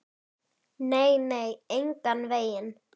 Nei, nei, engan veginn.